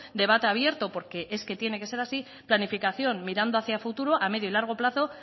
debate abierto porque es que tiene que ser así planificación mirando hacia futuro a medio y largo plazo